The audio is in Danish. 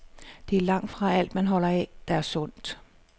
Det er langtfra alt, man holder af, der er sundt.